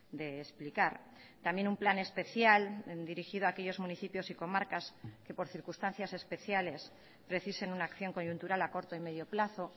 de explicar también un plan especial dirigido a aquellos municipios y comarcas que por circunstancias especiales precisen una acción coyuntural a corto y medio plazo